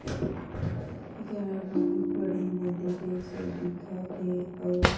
इकरा बहुत बड़े नदी जैसे दिखत थे अउ